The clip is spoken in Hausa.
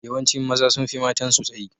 Yawancin maza sun fi matansu tsayi.